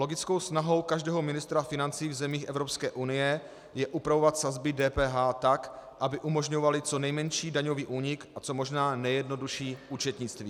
Logickou snahou každého ministra financí v zemích Evropské unie je upravovat sazby DPH tak, aby umožňovaly co nejmenší daňový únik a co možná nejjednodušší účetnictví.